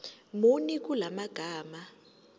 muni kula magama